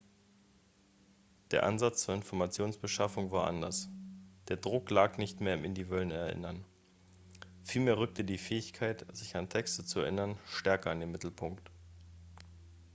der ansatz zur informationsbeschaffung war anders der druck lag nicht mehr im individuellen erinnern vielmehr rückte die fähigkeit sich an texte zu erinnern stärker in den mittelpunkt